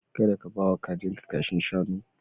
Kada ka ba wa kajinka kashin shanu.